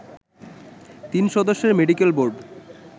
তিন সদস্যের medical board